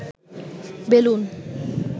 balloon